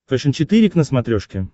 фэшен четыре к на смотрешке